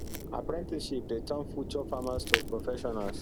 apprenticeship dey turn future farmers to professionals